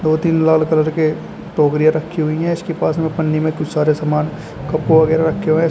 दो तीन लाल कलर के टोकरियां रखी हुई हैं इसके पास में पन्नी में कुछ सारे सामान कप वगैरा रखे हुए हैं।